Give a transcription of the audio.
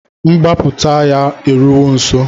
Mgbaputa ya eruwo nso